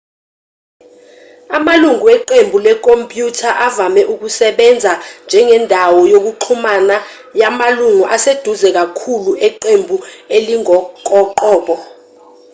amalungu weqembu wekhompyutha avame ukusebenza njengendawo yokuxhumana yamalungu aseduze kakhulu eqembu elingokoqobo